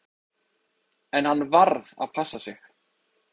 En hann varð að passa sig.